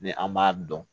Ni an m'a dɔn